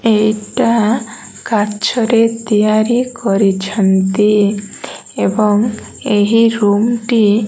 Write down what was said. ଏଇଟା କାଛ ରେ ତିଆରି କରିଛନ୍ତି ଏବଂ ଏହି ରୁମ୍ ଟି --